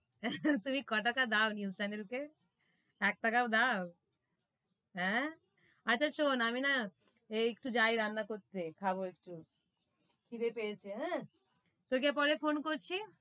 তুমি ক টাকা দোও, news channel কে? এক টাকাও দোও, হেঁ, আচ্ছা শুন, আমি না এ যাই একটু রান্না করতে, খাবো একটু, খিদে পেয়েছে, হেঁ, তোকে পরে ফোন করছি,